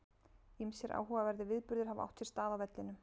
Ýmsir áhugaverðir viðburðir hafa átt sér stað á vellinum.